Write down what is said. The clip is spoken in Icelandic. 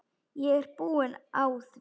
Ég er búin á því.